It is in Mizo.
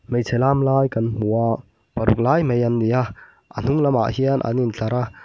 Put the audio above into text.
hmeichhe lam lai kan hmu a paruk lai mai an ni a a hnung lamah hian an in tlar a.